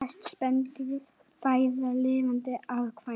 Flest spendýr fæða lifandi afkvæmi